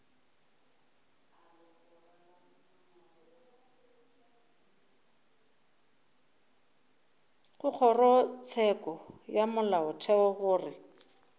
go kgorotsheko ya molaotheo gore